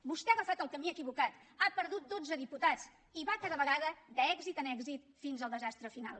vostè ha agafat el camí equivocat ha perdut dotze diputats i va cada vegada d’èxit en èxit fins al desastre final